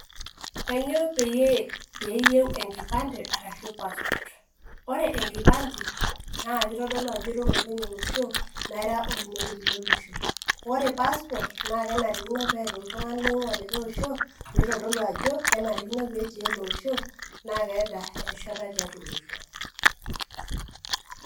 kanyio piiyieu enkipande ashu passport? ore enkipande na kitodolu ajo ira olopeny olosho ashu ira oinoti lolosho ore passport na kenarikino neeta olikae tungani oingua olikae osho peitodolu ajo ,kenarikino peeti ele osho na keeta erishata tiatua olosho.